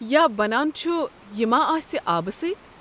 یا بنان چھُ یہِ ما آسہِ آبہٕ سۭتۍ۔